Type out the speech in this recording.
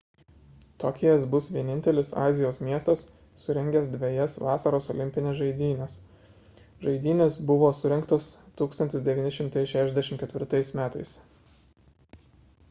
tokijas bus vienintelis azijos miestas surengęs dvejas vasaros olimpines žaidynes žaidynės buvo surengtos 1964 m